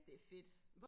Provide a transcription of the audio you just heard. det fedt